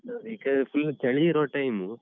ಈಗ full ಚಳಿ ಇರೋ time .